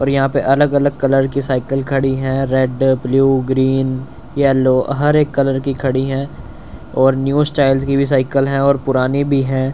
और यहां पे अलग अलग कलर की साइकिल खड़ी है रेड ब्लू ग्रीन येलो हर एक कलर की खड़ी है और न्यू स्टाइल्स की भी साइकिल है और पुरानी भी है।